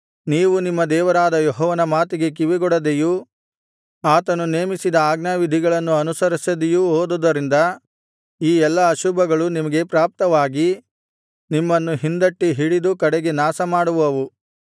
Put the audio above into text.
ನೀವು ನಿಮ್ಮ ದೇವರಾದ ಯೆಹೋವನ ಮಾತಿಗೆ ಕಿವಿಗೊಡದೆಯೂ ಆತನು ನೇಮಿಸಿದ ಆಜ್ಞಾವಿಧಿಗಳನ್ನು ಅನುಸರಿಸದೆಯೂ ಹೋದುದರಿಂದ ಈ ಎಲ್ಲಾ ಅಶುಭಗಳು ನಿಮಗೆ ಪ್ರಾಪ್ತವಾಗಿ ನಿಮ್ಮನ್ನು ಹಿಂದಟ್ಟಿ ಹಿಡಿದು ಕಡೆಗೆ ನಾಶಮಾಡುವವು